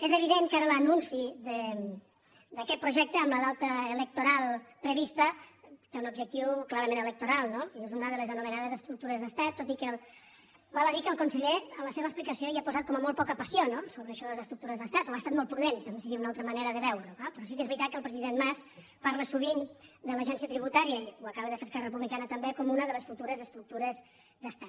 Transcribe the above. és evident que ara l’anunci d’aquest projecte amb la data electoral prevista té un objectiu clarament electoral no i és una de les anomenades estructures d’estat tot i que val a dir que el conseller en la seva explicació hi ha posat com a molt poca passió sobre això de les estructures d’estat o ha estat prudent també seria una altra manera de veure ho però sí que és veritat que el president mas parla sovint de l’agència tributària i ho acaba de fer esquerra republicana també com una de les futures estructures d’estat